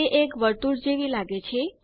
તે એક વર્તુળ જેવી લાગે છે